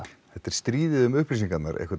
þetta er stríðið um upplýsingarnar